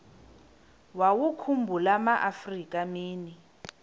wawakhumbul amaafrika mini